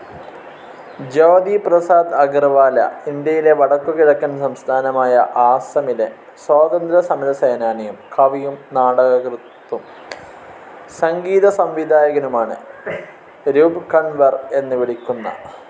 ജ്യോതി പ്രസാദ് അഗർവാല, ഇന്ത്യയിലെ വടക്കുകിഴക്കൻ സംസ്ഥാനമായ ആസ്സമിലെ സ്വാതന്ത്ര്യസമരസേനാനിയും, കവിയും, നാടകൃത്തും, സംഗീത സംവിധായകനുമാണ്. രൂപ്കൺവർ എന്ന് വിളിക്കുന്ന